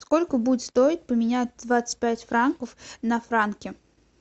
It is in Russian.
сколько будет стоить поменять двадцать пять франков на франки